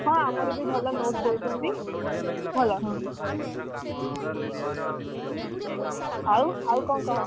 ହଁ ଆମର ବି ଭଲ note ଦଉଛନ୍ତି। ଭଲ ଆଉ ଆଉ କଣ କହ?